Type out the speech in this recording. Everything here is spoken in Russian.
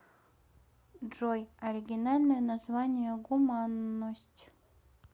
джой оригинальное название гуманность